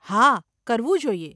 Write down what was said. હા, કરવું જોઈએ.